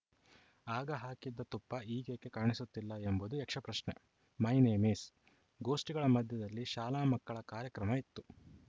ಆಗ ಹಾಕಿದ್ದ ತುಪ್ಪ ಈಗೇಕೆ ಕಾಣಿಸುತ್ತಿಲ್ಲ ಎಂಬುದು ಯಕ್ಷಪ್ರಶ್ನೆ ಮೈ ನೇಮ ಈಸ್‌ ಗೋಷ್ಠಿಗಳ ಮಧ್ಯದಲ್ಲಿ ಶಾಲಾ ಮಕ್ಕಳ ಕಾರ್ಯಕ್ರಮ ಇತ್ತು